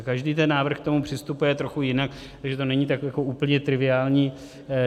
A každý ten návrh k tomu přistupuje trochu jinak, takže to není tak jako úplně triviální.